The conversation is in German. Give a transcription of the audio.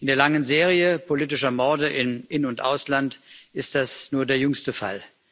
In der langen Serie politischer Morde im In und Ausland ist das nur der jüngste Fall.